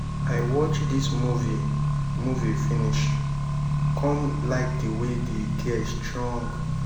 i watch dis movie movie finish come like the way the girl strong.